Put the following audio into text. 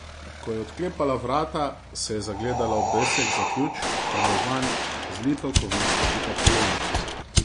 Ko je odklepala vrata, se je zagledala v obesek za ključ in v vanj zlito kovinsko pikapolonico.